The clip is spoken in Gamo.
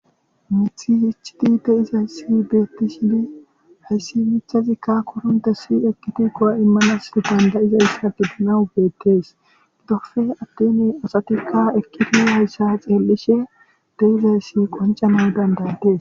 Mithi hichiti de izay si beettishidi hayssi michazikka korunte si ekkiti kowa immanas dandayizayssa bidanawu beettees dofe attene asatikka ekkiti hayssa xeellishe de7izayssi qoncana dandaydes